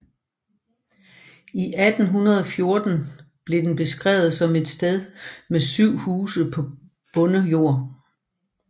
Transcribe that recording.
I 1814 blev den beskrevet som et sted med syv huse på bondejord